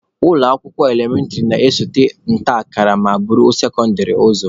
Ụlọ akwụkwọ elementịrị na-esote nta akara ma buru sekondịrị ụzọ.